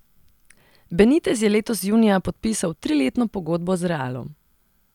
Benitez je letos junija podpisal triletno pogodbo z Realom.